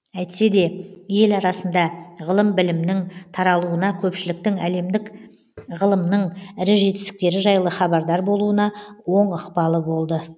әйтсе де ел арасында ғылым білімнің таралуына көпшіліктің әлемдік ғылымның ірі жетістіктері жайлы хабардар болуына оң ықпалы болды